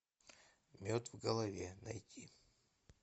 мед в голове найти